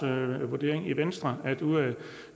vurdering i venstre at der ud af